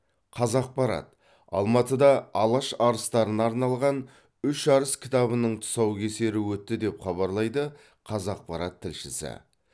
қазақпарат алматыда алаш арыстарына арналған үш арыс кітабының тұсаукесері өтті деп хабарлайды қазақпарат тілшісі